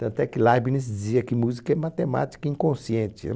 Tanto é que Leibniz dizia que música é matemática inconsciente,